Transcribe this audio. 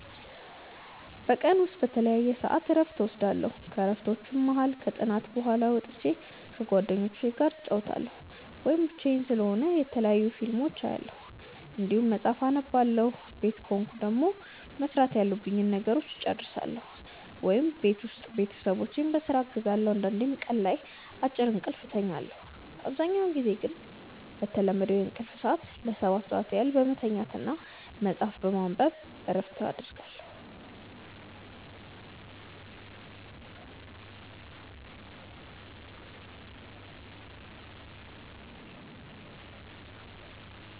በቀን ውስጥ በተለያየ ሰዐት እረፍት እወስዳለሁ። ከእረፍቶቹም መሀል ከጥናት በኋላ ወጥቼ ከጓደኞቹ ጋር እጫወታለሁ ወይም ብቻዬን ስሆን የተለያዩ ፊልሞችን አያለሁ እንዲሁም መጽሐፍ አነባለሁ ቤት ከሆንኩ ደግሞ መስራት ያሉብኝን ነገሮች እጨርሳለሁ ወይም ቤት ውስጥ ቤተሰቦቼን በስራ አግዛለሁ አንዳንዴም ቀን ላይ አጭር እንቅልፍ እተኛለሁ። አብዛኛውን ጊዜ ግን በተለመደው የእንቅልፍ ሰዐት ለ7 ሰዓት ያህል በመተኛት እና መጽሀፍ በማንበብ ነው እረፍት የማረገው።